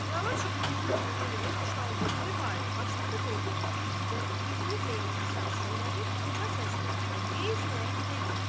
Qəlyan çubuğunun külünü yerə boşaldıb, dubara başladı dondurmağa və üzünü Zeynəbə sarı çöndərib, uca səslə və qeyzlə dedi: